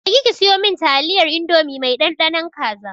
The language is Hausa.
Je ki siyo min taliyar indomie mai ɗanɗanon kaza!